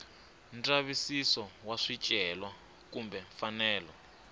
ndzavisiso wa swicelwa kumbe mfanelo